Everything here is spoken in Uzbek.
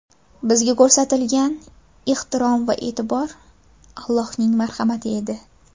Bizga ko‘rsatilgan ehtirom va e’tibor Allohning marhamati edi.